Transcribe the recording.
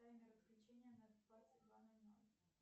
таймер отключения на двадцать два ноль ноль